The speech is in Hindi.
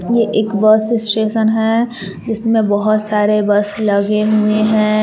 ये एक बस स्टेशन है जिसमें बहुत सारे बस लगे हुए हैं।